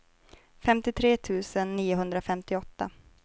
femtiotre tusen niohundrafemtioåtta